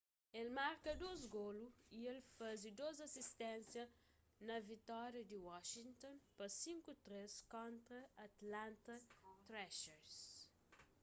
el marka 2 golu y el faze 2 asisténsia na vitória di washington pa 5-3 kontra atlanta thrashers